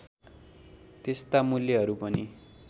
त्यस्ता मूल्यहरू पनि